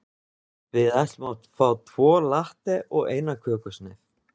Við ætlum að fá tvo latte og eina kökusneið.